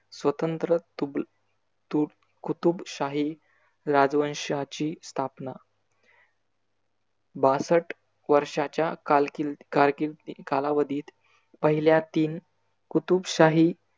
स्वतंत्र तुग तु कुतुबशाही राजवंशाची स्थापना. बासट वर्षाच्या कारकिर कारकी कालावधीत पहील्या तीन कुतुबशाही